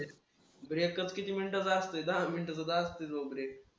Breakup किती मिनिटाचा असतोय? दहा मिनिटाचा तर असतोय तो break